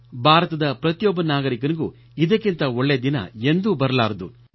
ಭಾರತದ ಪ್ರತಿಯೊಬ್ಬ ನಾಗರಿಕನಿಗೂ ಇದಕ್ಕಿಂತ ಒಳ್ಳೇ ದಿನ ಎಂದೂ ಬರಲಾರದು